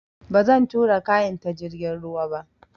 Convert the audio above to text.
Ba zan tura kayan ta jirgin ruwa ba